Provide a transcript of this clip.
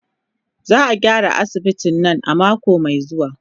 Za a gyara asibitin nan a mako mai zuwa.